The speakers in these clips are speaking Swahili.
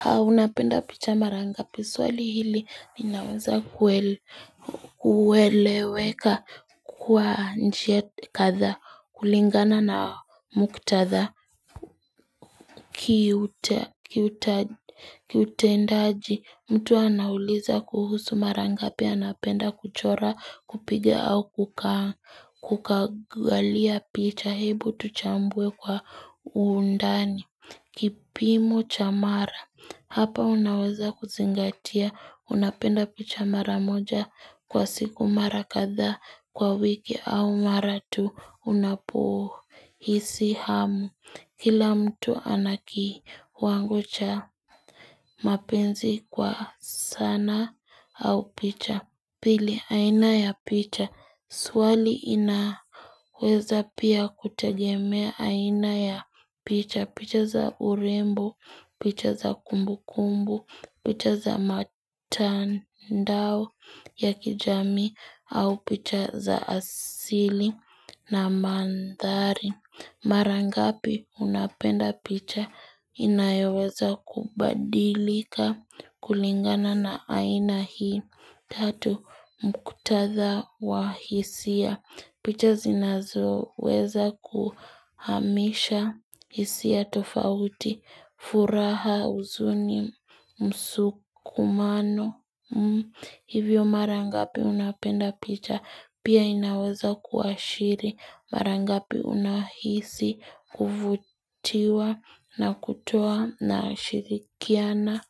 Haunapenda picha marangapi swali hili linaweza kuel kueleweka kwa njia kadhaa kulingana na muktadha Kiutendaaji mtu anauliza kuhusu marangapi anapenda kuchora kupiga au kuka kukagalia picha hebu tuchambue kwa undani kipimo chamara Hapa unaweza kuzingatia, unapenda picha maramoja kwa siku marakadhaa kwa wiki au maratu unapohisi hamu. Kila mtu anaki wangocha mapenzi kwa sanaa au picha. Pili, aina ya picha, swali inaweza pia kutegemea aina ya picha. Picha za urembo, picha za kumbu kumbu, picha za matandao ya kijamii au picha za asili na mandhari. Marangapi unapenda picha inayoweza kubadilika kulingana na aina hii tatu mkutadha wa hisia. Picha zinazo weza kuhamisha hisia tofauti, furaha uzuni, msukumano, hivyo marangapi unapenda picha pia inaweza kuashiri marangapi unahisi kuvutiwa na kutoa na shirikiana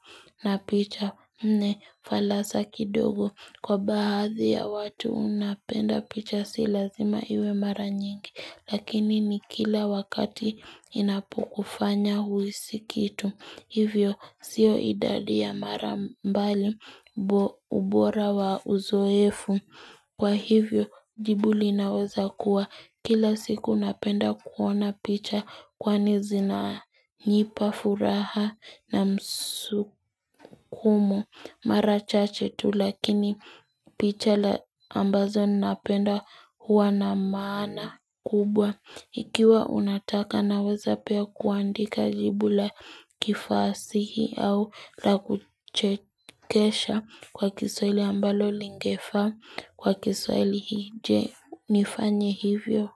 na picha nne falasa kidogo. Kwa baadhi ya watu unapenda picha silazima iwe mara nyingi, lakini ni kila wakati inapokufanya huisi kitu. Hivyo sio idadi ya mara mbali ubora wa uzoefu. Kwa hivyo jibu linaweza kuwa kila siku napenda kuona picha kwani zinanipa furaha na msukumo. Mara chache tu lakini picha la ambazo napenda huwa na maana kubwa. Ikiwa unataka naweza pia kuandika jibula kifasihi au la kuchekesha kwa kiswaili ambalo lingefa kwa kiswaili hii je nifanye hivyo.